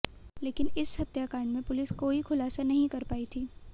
लेकिन इस हत्याकांड में पुलिस कोई खुलासा नहीं कर पाई थी